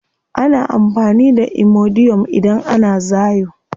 Ana amfani da imodium idan ana zaayo.